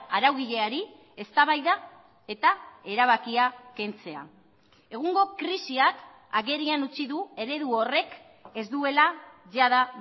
araugileari eztabaida eta erabakia kentzea egungo krisiak agerian utzi du eredu horrek ez duela jada